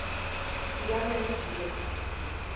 пьяный рассвет